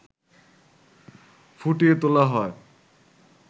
ফুটিয়ে তোলা হয়